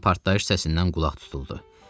Birdən partlayış səsindən qulaq tutuldu.